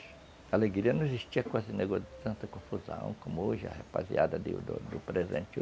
A alegria não existia com esse negócio de tanta confusão, como hoje, a rapaziada do do do presente.